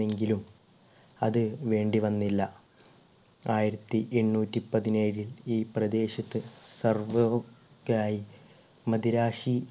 എങ്കിലും അത് വേണ്ടി വന്നില്ല. ആയിരത്തി എണ്ണൂറ്റി പതിനേഴിൽ ഈ പ്രദേശത്ത് സർവ്വവും ആയി മദിരാശി